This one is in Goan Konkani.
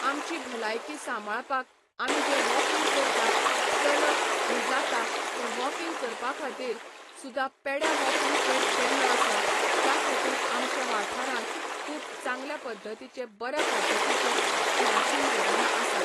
आमची भलायकी साबांळपाक आमी जे वॉकिंग करता, चलप हे जाता तें वॉकिंग करपा खातीर सुदा पेड्या वॉकिंग ट्रेक केल्लो आसा त्या खातीर आमच्या वाठारांत खूब चांगल्या पद्दतीचे बऱ्या पद्दतीचे खेळाचींं मैदानां आसात.